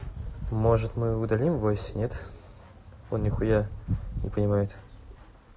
может мы удалим васю он нихуя не понимает